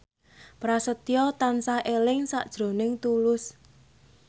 Prasetyo tansah eling sakjroning Tulus